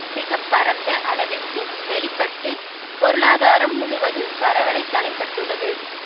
மிக பரந்த அளவிற்கு வெளி பட்டு பொருளாதாரம் முழுவதும் பரவளை தலைப்பட்டுள்ளது